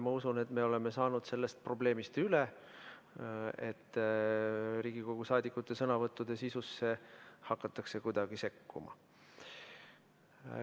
Ma usun, et me oleme saanud sellest probleemist üle, et Riigikogu saadikute sõnavõttude sisusse hakatakse kuidagi sekkuma.